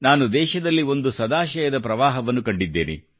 ನಾನು ದೇಶದಲ್ಲಿ ಒಂದು ಸದಾಶಯದ ಪ್ರವಾಹವನ್ನೂ ಕಂಡಿದ್ದೇನೆ